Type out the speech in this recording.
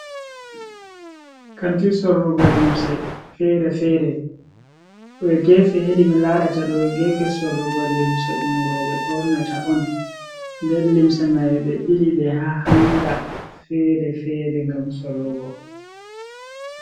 Kanti sorrugo limse fere-fere, dowe gefe hedi mi larata ɗo gefe sorrugo limse ɗum roɓe ɓornata on nder limse mai ɓe bili ɗe ha hanga fere-fere gam sorrugo.